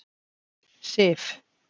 Sif